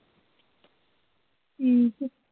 ਠੀਕ ਐ।